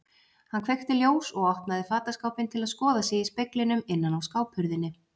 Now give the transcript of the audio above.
Hann kveikti ljós og opnaði fataskápinn til að skoða sig í speglinum innan á skáphurðinni.